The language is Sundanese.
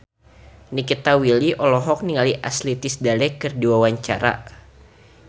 Nikita Willy olohok ningali Ashley Tisdale keur diwawancara